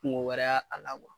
Kungu wɛrɛ y'a a la kuwa.